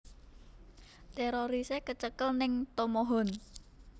Terorise kecekel ning Tomohon